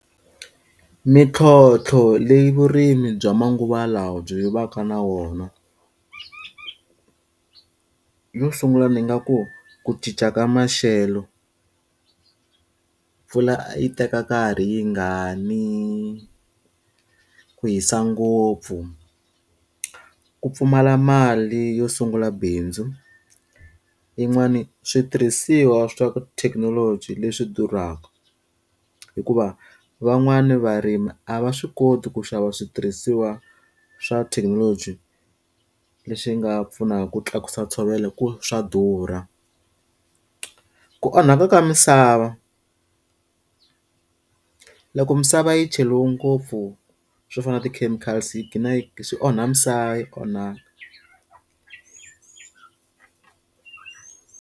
Mintlhotlho leyi vurimi bya manguva lawa byi va ka na wona. Yo sungula ni nga ku, ku cinca ka maxelo. Mpfula yi teka nkarhi yi nga ni, ku hisa ngopfu, ku pfumala mali yo sungula bindzu. Yin'wani switirhisiwa swa thekinoloji leswi durhaka, hikuva van'wana varimi a va swi koti ku xava switirhisiwa swa thekinoloji leswi nga pfunaka ku tlakusa ntshovelo hikuva swa durha. Ku onhaka ka misava. Loko misava yi cheriwe ngopfu swo fana na ti-chemicals yi ghina yi swi onha misava, yi onha.